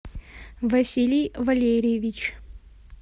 василий валерьевич